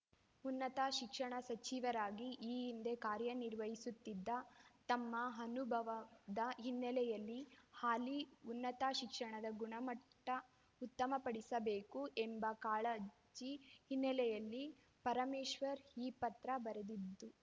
ಉನ್ನತ ಶಿಕ್ಷಣ ಸಚಿವರಾಗಿ ಈ ಹಿಂದೆ ಕಾರ್ಯನಿರ್ವಹಿಸಿದ್ದ ತಮ್ಮ ಅನುಭವದ ಹಿನ್ನೆಲೆಯಲ್ಲಿ ಹಾಲಿ ಉನ್ನತ ಶಿಕ್ಷಣದ ಗುಣಮಟ್ಟಉತ್ತಮಪಡಿಸಬೇಕು ಎಂಬ ಕಾಳಜಿ ಹಿನ್ನೆಲೆಯಲ್ಲಿ ಪರಮೇಶ್ವರ್‌ ಈ ಪತ್ರ ಬರೆದಿದ್ದು